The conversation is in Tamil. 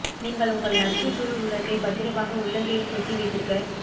நீங்கள் உங்கள் நட்பு சூழ் உலகை பத்திரமாக உள்ளங்கையில் பொத்தி வைத்திருக்க